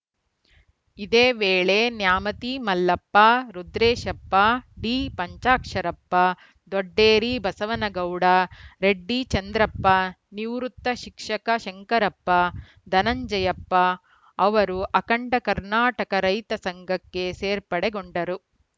ಇದೇ ವೇಳೆ ನ್ಯಾಮತಿ ಮಲ್ಲಪ್ಪ ರುದ್ರೇಶಪ್ಪ ಡಿಪಂಚಾಕ್ಷರಪ್ಪ ದೊಡ್ಡೇರಿ ಬಸವನಗೌಡ ರೆಡ್ಡಿ ಚಂದ್ರಪ್ಪ ನಿವೃತ್ತ ಶಿಕ್ಷಕ ಶಂಕರಪ್ಪ ಧನಂಜಯಪ್ಪ ಅವರು ಅಖಂಡ ಕರ್ನಾಟಕ ರೈತ ಸಂಘಕ್ಕೆ ಸೇರ್ಪಡೆಗೊಂಡರು